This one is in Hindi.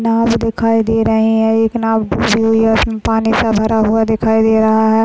नाँव दिखाई दे रही है एक नाँव डूब रही है पानी सा भरा हुआ दिखाई दे रहा है।